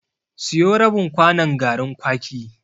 Siyo rabin kwanon garin kwaki.